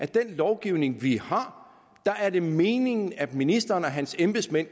den lovgivning vi har er meningen at ministeren og hans embedsmænd